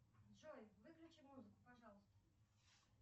джой выключи музыку пожалуйста